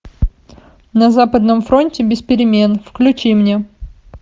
на западном фронте без перемен включи мне